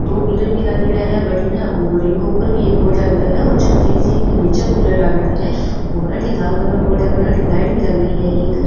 दो कूलर भी लागेड़ा है बठन और इन के ऊपर भी एक बोर्ड लागेड़ा है और छतरी सी के निचे कुलर लागेड़ा है और अठीने लाल कलर अठीने लाइट भी लागेडी है एक।